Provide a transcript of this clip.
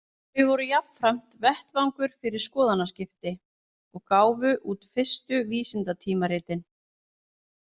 Þau voru jafnframt vettvangur fyrir skoðanaskipti, og gáfu út fyrstu vísindatímaritin.